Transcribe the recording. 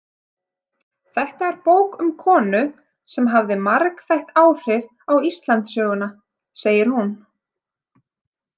Þetta er bók um konu sem hafði margþætt áhrif á Íslandssöguna, segir hún.